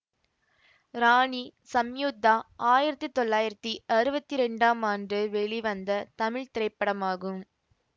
ராணி சம்யுக்தா ஆயிரத்தி தொள்ளாயிரத்தி அறுவத்தி இரண்டாம் ஆண்டு வெளிவந்த தமிழ் திரைப்படமாகும்